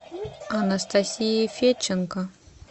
анастасия федченко